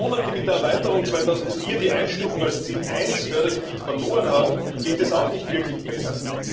Regionen, die mit der Erweiterung 2004 die Einstufung als Ziel I Fördergebiet verloren haben, geht es auch nicht wirklich besser.